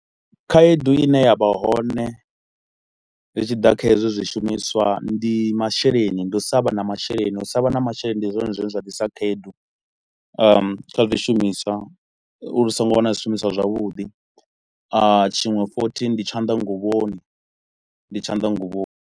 Khaedu i ne ya vha hone zwi tshi ḓa kha hezwi zwishumiswa, ndi masheleni, ndi u sa vha na masheleni. U sa vha na masheleni ndi zwone zwine zwa ḓisa khaedu ahm kha zwi shumiswa, uri ri so ngo wana zwishumiswa zwavhuḓi. A tshiṅwe futhi ndi tshanḓanguvhoni, ndi tshanḓanguvhoni.